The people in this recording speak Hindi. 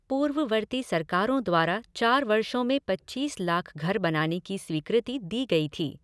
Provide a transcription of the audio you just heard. पूर्ववर्ती सरकारों द्वारा चार वर्षों में पच्चीस लाख घर बनाने की स्वीकृति दी गई थी।